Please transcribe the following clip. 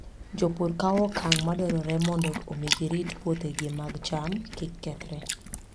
Jopur kawo okang' madwarore mondo omi girit puothegi mag cham kik kethre.